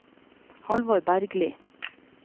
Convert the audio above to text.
Halvor Bergli